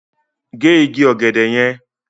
Gé igi ọ̀gẹ̀dẹ̀ yẹn!